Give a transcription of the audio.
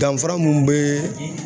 Danfara mun be